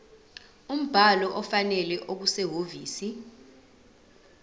umbhalo ofanele okusehhovisi